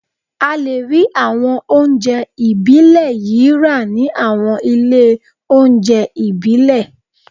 A lè rí àwọn oúnjẹ ìbílẹ̀ yìí rà ní àwọn ilé oúnjẹ ìbílẹ̀